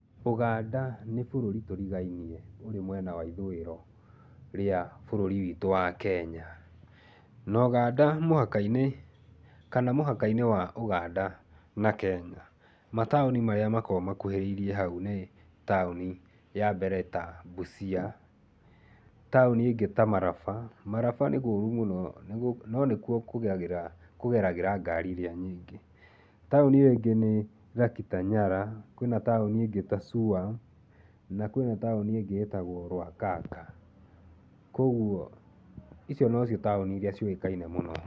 Ũganda ni bũrũri tũrigainie ũrĩ mwena wa ithũiro rĩ ya bũrũri wa Kenya. No Ũganda mũhaka-inĩ kana mũhaka-inĩ wa Ũganda na Kenya mataũni marĩa makoragwo makũhĩrĩirie hau nĩ taũni ya mbere ta Busia, taũni ingĩ ta Maraba. Maraba nĩ kũrũ mũno, no nĩkũo kũgeragira ngari iria nyingĩ. Taũni iyo ingĩ nĩ Lokitanyala, kwina taũni ĩngĩ ta Suam na kwina taũni ĩngĩ ĩtagwo Lwakhakha. Kogũo icio no cio taũni iria ciũĩkaine mũno.